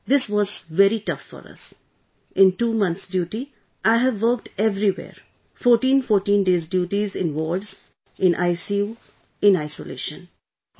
Sir this was very tough for us ...in 2 months duty, I have worked everywhere ...14 14 days duty in wards, in ICU, in Isolation